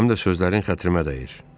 Həm də sözlərin xətrimə dəydi.